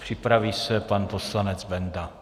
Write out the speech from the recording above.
Připraví se pan poslanec Benda.